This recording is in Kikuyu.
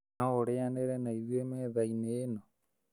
No ũrĩanĩre na ithuĩ methainĩ ĩno?